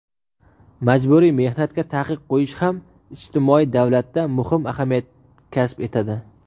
majburiy mehnatga taqiq qo‘yish ham ijtimoiy davlatda muhim ahamiyat kasb etadi.